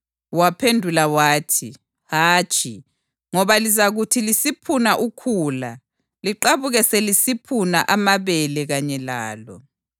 Waphendula wathi, ‘Hatshi, ngoba lizakuthi lisiphuna ukhula liqabuke selisiphuna amabele kanye lalo.